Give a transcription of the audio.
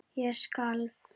Ég skalf.